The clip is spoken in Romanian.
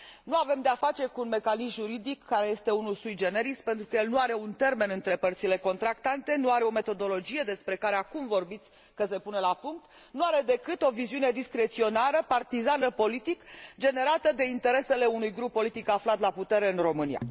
Nu avem de a face cu un mecanism juridic, care este unul sui generis pentru că el nu are un termen între părțile contractante, nu are o metodologie, despre care, acum, vorbiți că se pune la punct, nu are decât o viziune discreționară, partizană politic, generată de interesele unui grup politic aflat la putere în România.